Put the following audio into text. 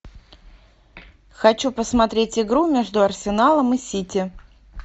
хочу посмотреть игру между арсеналом и сити